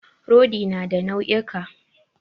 Rodi na da nau'ika.